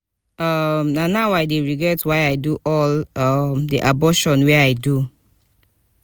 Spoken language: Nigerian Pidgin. um na now i dey regret why i do all um the abortion wey i do